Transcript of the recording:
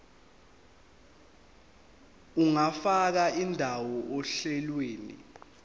ungafaka indawo ohlelweni